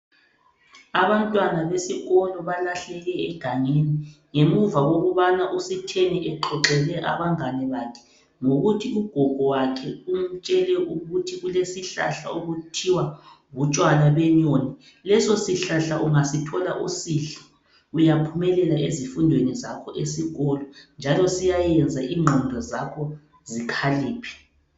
Abantwana besikolo balahleke egangeni ngemuva kokubana uSitheni exoxele abangane bakhe ngokuthi ugogo wakhe umtshele ukuthi kulesihlahla okuthiwa butshwala benyoni, leso sihlahla ungasithola usidle uyaphumelela ezifundweni zakho esikolo njalo siyayeza ingqondo zakho zikhaliphe.